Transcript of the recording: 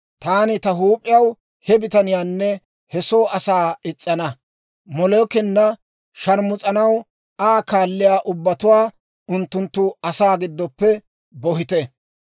taani ta huup'iyaw he bitaniyaanne he soo asaa is's'ana; Molookena sharmus'anaw Aa kaalliyaa ubbatuwaa unttunttu asaa giddoppe bohitte.